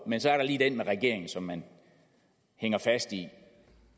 men så er der lige det med regeringen som man hænger fast i